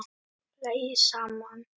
Hlæið saman